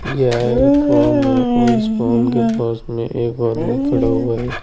यह एक फॉर्म है और इस फॉर्म के पास में एक आदमी खड़ा है।